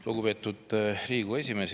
Lugupeetud Riigikogu esimees!